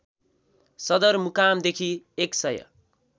सदरमुकामदेखि १ सय